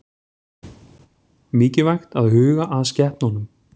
Mikilvægt að huga að skepnunum